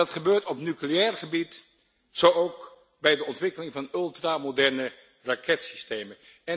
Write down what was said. Dat gebeurt op nucleair gebied, zo ook bij de ontwikkeling van ultramoderne raketsystemen.